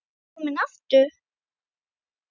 Kominn aftur?